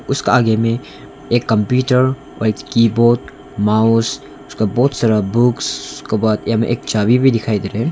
उसका आगे मे एक कंप्यूटर और एक कीबोर्ड माउस उसका बहुत सारा बुक्स उसके बाद हमें एक चाबी भी दिखाई दे रा है।